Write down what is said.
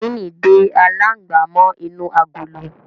Yẹkìnì dé alangba mó inú àgọlọ.